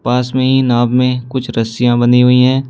पास में ही नाव में कुछ रस्सियां बंधी हुई हैं।